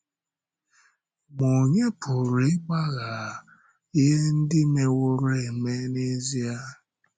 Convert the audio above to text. Ma ònye pụrụ ị̀gbàghà ihe ndị mewòrò eme n’ezie?